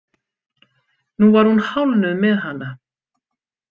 Nú var hún hálfnuð með hana.